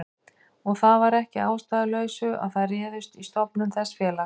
Og það var ekki að ástæðulausu að þær réðust í stofnun þessa félags.